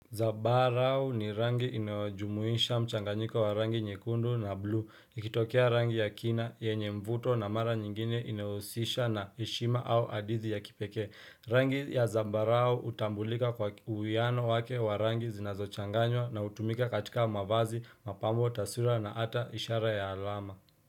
Zabarau ni rangi inayojumuisha mchanganyiko wa rangi nyekundu na blu, ikitokea rangi ya kina, yenye mvuto na mara nyingine inahusisha na ishima au adithi ya kipeke. Rangi ya zabarau utambulika kwa uwiano wake wa rangi zinazo changanywa na utumika katika mwavazi, mapambo, tasura na ata ishara ya alama.